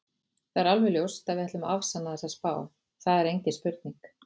Það er alveg ljóst að við ætlum að afsanna þessa spá, það er engin spurning.